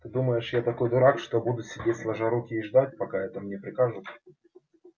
ты думаешь я такой дурак что буду сидеть сложа руки и ждать пока это мне прикажут